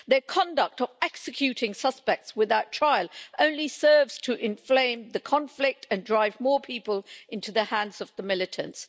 Their conduct of executing suspects without trial only serves to inflame the conflict and drive more people into the hands of the militants.